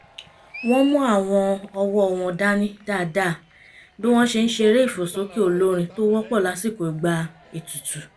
wọ́n mú àwọn ọwọ́ wọn dání dáadáa bí wọ́n ṣe ń ṣeré ìfòsókè olórin tó wọ́pọ̀ lásìkò ìgbà ètùtù